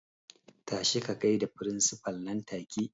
Tashi ka gaida firinsifal nan take!